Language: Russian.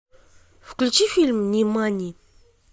включи фильм нимани